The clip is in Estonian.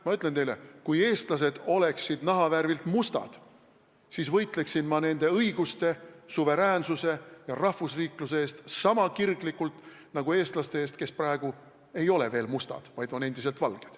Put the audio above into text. Ma ütlen teile, et kui eestlased oleksid nahavärvilt mustad, siis võitleksin ma nende õiguste, suveräänsuse ja rahvusriikluse eest niisama kirglikult nagu eestlaste eest, kes praegu ei ole veel mustad, vaid on endiselt valged.